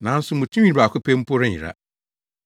Nanso mo tinwi baako pɛ mpo renyera.